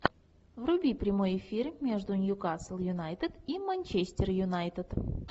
вруби прямой эфир между нью касл юнайтед и манчестер юнайтед